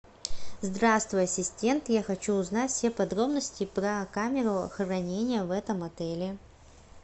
здравствуй ассистент я хочу узнать все подробности про камеру хранения в этом отеле